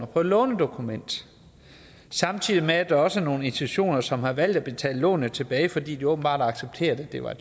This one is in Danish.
på et lånedokument og samtidig med at der også er nogle institutioner som har valgt at betale lånene tilbage fordi de åbenbart har accepteret at det var